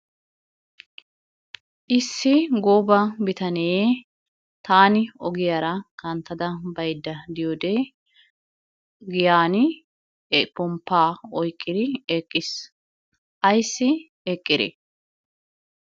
Issi gooba bitanee tàani ogiyaara kanttada baydda diyoode giyan pomppa oyqqiri eqqiis. Ayssi eqqire?